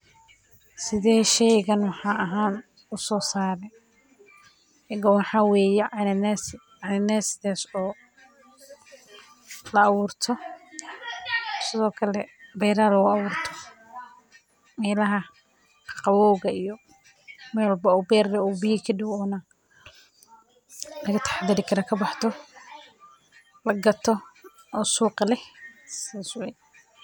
Sidee shaygan maxalli ahaan u soo saaray, shaygan waxaa weye cananasi, cananasidaas oo la aburto sithokale beraha lagu aburto, meelaha qaqabowgga iyo meel walbo beer doow biya kadow, laga taxadari karo kabaxdo, lagato, oo suuq leh, sas weye.